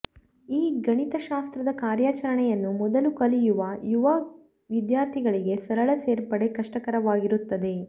ಈ ಗಣಿತಶಾಸ್ತ್ರದ ಕಾರ್ಯಾಚರಣೆಯನ್ನು ಮೊದಲು ಕಲಿಯುವ ಯುವ ವಿದ್ಯಾರ್ಥಿಗಳಿಗೆ ಸರಳ ಸೇರ್ಪಡೆ ಕಷ್ಟಕರವಾಗಿರುತ್ತದೆ